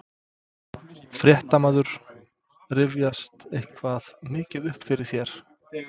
Fréttamaður: Rifjast eitthvað mikið upp fyrir þér?